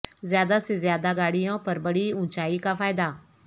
زیادہ سے زیادہ گاڑیوں پر بڑی اونچائی کا فائدہ